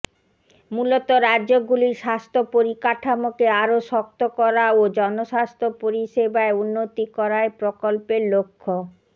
মূলত রাজ্যগুলির স্বাস্থ্য পরিকাঠামোকে আরও শক্ত করা ও জনস্বাস্থ্য পরিষেবায় উন্নতি করাই প্রকল্পের লক্ষ্য